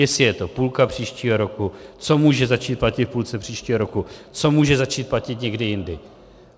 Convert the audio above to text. Jestli je to půlka příštího roku, co může začít platit v půlce příštího roku, co může začít platit někdy jindy.